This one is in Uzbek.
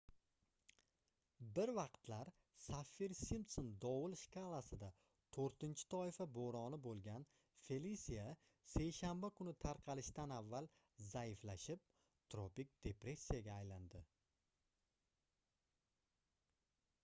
bir vaqtlar saffir-simpson dovul shkalasida 4-toifa boʻroni boʻlgan felisia seshanba kuni tarqalishidan avval zaiflashib tropik depressiyaga aylandi